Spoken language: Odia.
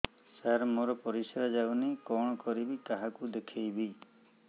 ସାର ମୋର ପରିସ୍ରା ଯାଉନି କଣ କରିବି କାହାକୁ ଦେଖେଇବି